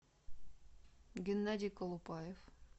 геннадий колупаев